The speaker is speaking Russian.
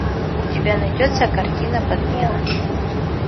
у тебя найдется картина подмена